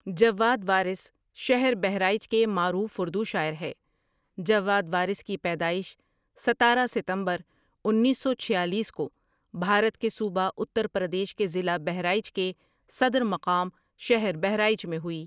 ٖجواد وارثٖ شہر بہرائچ کے معروف اردو شاعر ہے جواد وارث کی پیدائش ستارہ ستمبرانیس سو چھیالیس کو بھارت کے صوبہ اترپردیش کے ضلع بہرائچ کے صدر مقام شہر بہرائچ میں ہوئی ۔